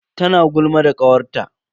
Tana gulma da kawarta.